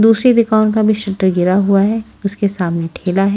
दूसरी दुकान का भी शटर गिरा हुआ है उसके सामने ठेला है।